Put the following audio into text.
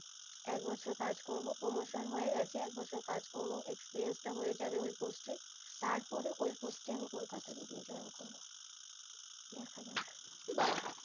একবছর কাজ করবো promotion হয়ে গেছে একবছর কাজ করবো experience টা হয়ে যাবে ওই post তারপরে ওই post এ আমি কলকাতায় গিয়ে join করবো বা